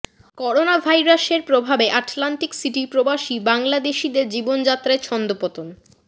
corona virus এর প্রভাবে Atlantic সিটির প্রবাসী বাংলাদেশীদের জীবনযাএায় ছন্দপতন